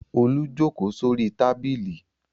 Olú jókòó sórí tábìlì.